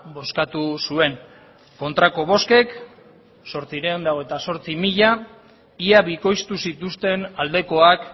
bozkatu zuen kontrako bozkek zortziehun eta hogeita zortzi mila ia bikoiztu zituzten aldekoak